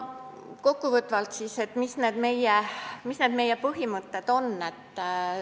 Kokku võttes, mis siis on meie põhimõtted?